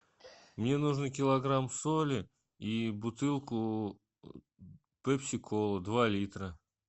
мне нужно килограмм соли и бутылку пепси колы два литра